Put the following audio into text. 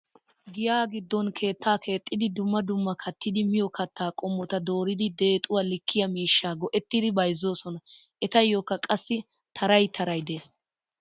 Giya giddon keettaa keexxidi dumma dumma kattidi miyo katta qommota dooridi deexuwa likkiyaa miishshaa go"ettidi bayzzoosona. Etayyokka qassi taray taray de'ees.